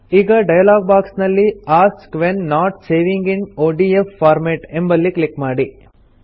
ಈಗ dialog box ನಲ್ಲಿ ask when not saving in ODF format ಎಂಬಲ್ಲಿ ಕ್ಲಿಕ್ ಮಾಡಿ